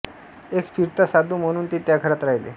एक फिरता साधू म्हणून ते त्या घरात राहिले